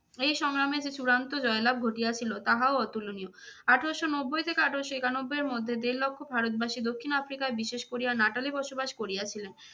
এই সংগ্রামে যে চূড়ান্ত জয়লাভ ঘটিয়াছিল তাহাও অতুলনীয়। আঠারোশো নব্বই থেকে আঠারোশো একানব্বই এর মধ্যে দেড় লক্ষ ভারতবাসী, দক্ষিণ আফ্রিকায় বিশেষ করে নাটালে বসবাস করিয়াছিলেন।